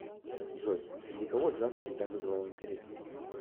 джой среди кого джаз всегда вызывал интерес